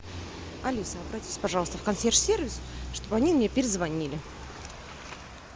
алиса обратись пожалуйста в консьерж сервис чтобы они мне перезвонили